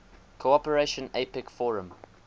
cooperation apec forum